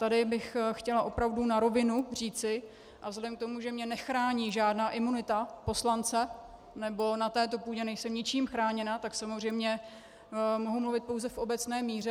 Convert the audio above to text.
Tady bych chtěla opravdu na rovinu říci, a vzhledem k tomu, že mě nechrání žádná imunita poslance, nebo na této půdě nejsem ničím chráněna, tak samozřejmě mohu mluvit pouze v obecné míře.